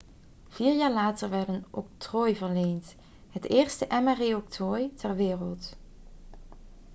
vier jaar later werd een octrooi verleend het eerste mri-octrooi ter wereld